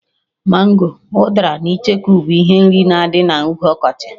Mango, udara na icheku bụ ihe nri na-adị na oge ọkọchị